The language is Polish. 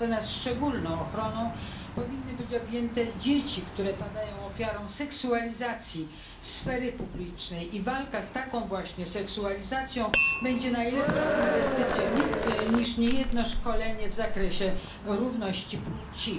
Natomiast szczególną ochroną powinny być objęte dzieci, które padają ofiarą seksualizacji sfery publicznej i walka z taką właśnie seksualizacją będzie lepszą inwestycją niż niejedno szkolenie w zakresie równości płci.